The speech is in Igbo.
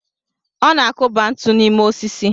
Ọ na-akụba ntu n'ime osisi.